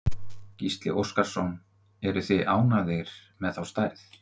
Gísli Óskarsson: Eruð þið ánægðir með þá stærð?